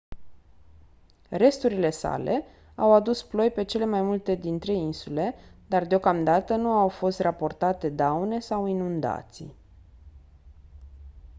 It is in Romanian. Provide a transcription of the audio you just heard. resturile sale au adus ploi pe cele mai multe dintre insule dar deocamdată nu au fost raportate daune sau inundații